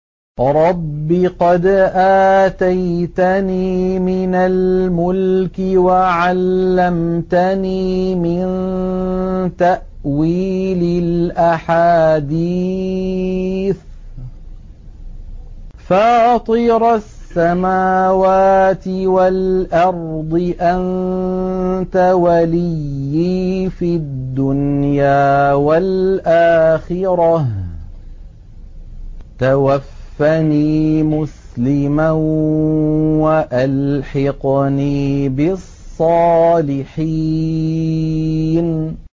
۞ رَبِّ قَدْ آتَيْتَنِي مِنَ الْمُلْكِ وَعَلَّمْتَنِي مِن تَأْوِيلِ الْأَحَادِيثِ ۚ فَاطِرَ السَّمَاوَاتِ وَالْأَرْضِ أَنتَ وَلِيِّي فِي الدُّنْيَا وَالْآخِرَةِ ۖ تَوَفَّنِي مُسْلِمًا وَأَلْحِقْنِي بِالصَّالِحِينَ